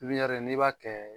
n'i b'a kɛ